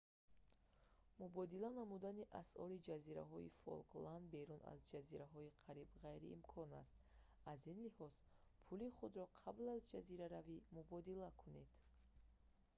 мубодила намудани асъори ҷазираҳои фолкланд берун аз ҷазираҳо қариб ғайриимкон аст аз ин лиҳоз пули худро қабл аз ҷазираравӣ мубодила кунед